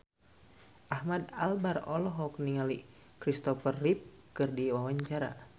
Ahmad Albar olohok ningali Christopher Reeve keur diwawancara